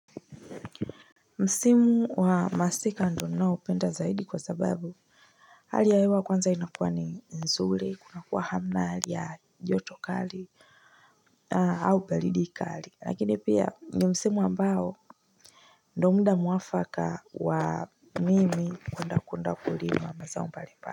Msimu wa masika ndo ninao penda zaidi kwa sababu hali ya hewa kwanza inakuwa ni nzuri kuna kuwa hamna hali ya joto kali au baridi kali lakini pia ni msimu ambao ndo muda mwafaka wa mimi kwenda kuenda kulima wa maza mbalipa.